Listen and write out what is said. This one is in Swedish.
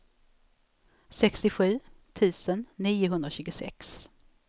sextiosju tusen niohundratjugosex